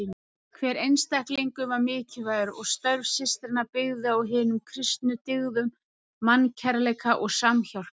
Hver einstaklingur var mikilvægur og störf systranna byggðu á hinum kristnu dyggðum mannkærleika og samhjálpar.